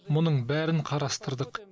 мұның бәрін қарастырдық